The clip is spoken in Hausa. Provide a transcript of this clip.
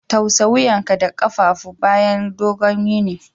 Tausa wuyanka da kafadu bayan dogon yini.